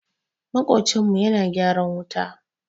Maƙocinmu yana gyaran wuta